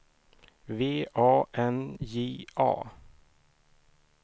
V A N J A